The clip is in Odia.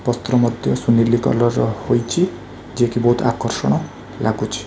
ପତ୍ର ମଧ୍ୟ ସୁନେଲି କଲର୍ ହୋଇଛି ଯିଏକି ବହୁତ୍ ଆକର୍ଷଣ ଲାଗୁଛି।